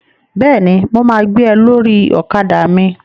Bẹ́ẹ̀ni, mo ma gbé ẹ lórí ọ̀kadà mi